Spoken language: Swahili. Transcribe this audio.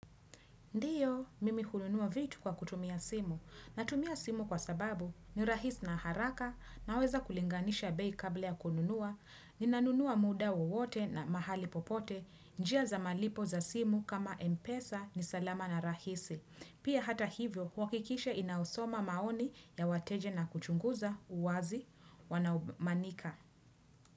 Ndiyo, mimi hununuwa vitu kwa kutumia simu. Natumia simu kwa sababu, ni rahisi na haraka, naweza kulinganisha bei kabla ya kununuwa, ni nanunuwa muda wowote na mahali popote, njia za malipo za simu kama mpesa ni salama na rahisi. Pia hata hivyo, wakikisha inausoma maoni ya wateja na kuchunguza uwazi wanamanika.